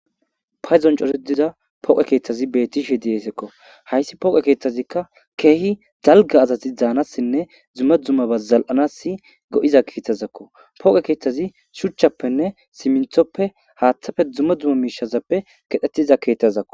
Payzon cosediza pooqe keeththazi bettishe diyeesekko hayssi pooqe keeththazikka keehi dalga azati daanassinne dzumma dzumma ba zal7anas go7iza keethtazakko pooqe keeththazi shuchchappenne siminthoppe haaththafe dzumma dzumma miishazappe kedhetiza keetthazakko.